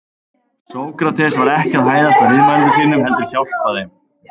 Sókrates var ekki að hæðast að viðmælendum sínum heldur hjálpa þeim.